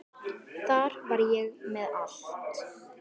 Þar var ég með allt.